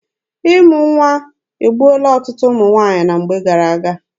Ịmụ nwa egbuola ọtụtụ ụmụ nwaanyị na mgbe gara aga.